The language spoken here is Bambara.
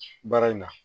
Baara in na